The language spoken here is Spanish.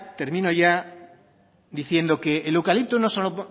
termino ya diciendo que el eucalipto no solo